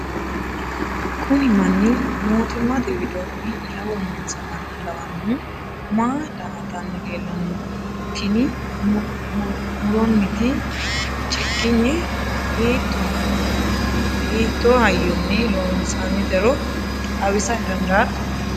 kuni manni mootimmate widoonni yawo noonsa manna lawannohu maa daa''atanni leellanni no? tini muronniti cigginye hiitto hayyonni loonsoonnitero xawisa dandaatto?